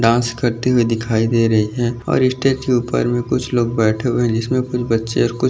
dance करते हुए दिखाई दे रहे है और इ स्टेज के उपर में कुछ लोग बैठे हुए है जिस में कुछ बच्चे और कुछ --